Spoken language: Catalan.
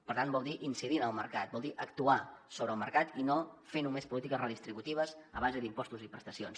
per tant vol dir incidir en el mercat vol dir actuar sobre el mercat i no fer només polítiques redistributives a base d’impostos i prestacions